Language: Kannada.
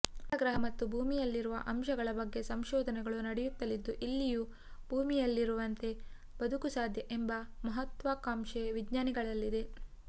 ಮಂಗಳ ಗ್ರಹ ಮತ್ತು ಭೂಮಿಯಲ್ಲಿರುವ ಅಂಶಗಳ ಬಗ್ಗೆ ಸಂಶೋಧನೆಗಳು ನಡೆಯುತ್ತಲಿದ್ದು ಇಲ್ಲಿಯೂ ಭೂಮಿಯಲ್ಲಿರುವಂತೆ ಬದುಕು ಸಾಧ್ಯ ಎಂಬ ಮಹತ್ವಾಕಾಂಕ್ಷೆ ವಿಜ್ಞಾನಿಗಳಲ್ಲಿದೆ